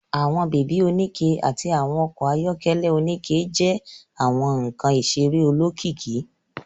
Àwọn baby onikẹ àti àwọn okò ayọkẹlẹ onikẹ jẹ àwọn nkán iṣere olókìkí